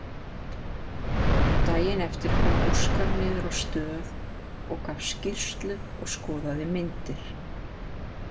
Daginn eftir kom Óskar niður á stöð og gaf skýrslu og skoðaði myndir.